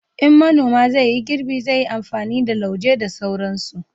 in manoma zai yi girbi, zai yi amfani da su lauje da sauransu